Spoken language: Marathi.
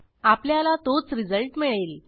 आपल्याला तोच रिझल्ट मिळेल